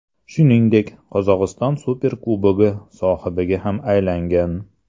Shuningdek, Qozog‘iston Superkubogi sohibiga ham aylangan.